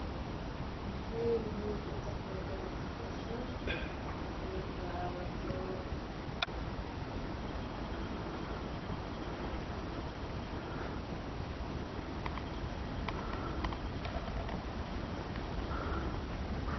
Maxeey muhiim utahay in aad howshan ka qeeb qaato.